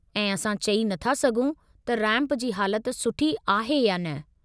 ऐं असां चई नथा सघूं त रैंप जी हालत सुठी आहे या न।